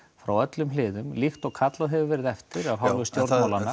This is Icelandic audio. frá öllum hliðum líkt og kallað hefur verið eftir af